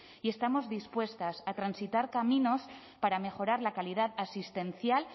y estamos dispuestas a transitar caminos para mejorar la calidad asistencial